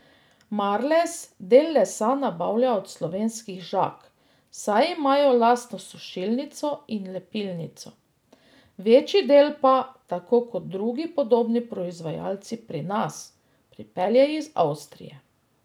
Marles del lesa nabavlja od slovenskih žag, saj imajo lastno sušilnico in lepilnico, večji del pa, tako kot drugi podobni proizvajalci pri nas, pripelje iz Avstrije.